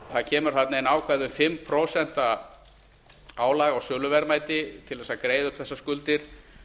það kemur þarna inn ákvæði um fimm prósent álag á söluverðmæti til að greiða upp þessar skuldir